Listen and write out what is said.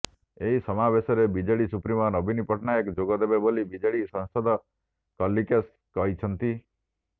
ଏହି ସମାବେଶରେ BJD supremo ନବୀନ ପଟ୍ଟନାୟକ ଯୋଗଦେବେ ବୋଲି ବିଜେଡି ସାଂସଦ କଳିକେଶ କହିଛନ୍ତି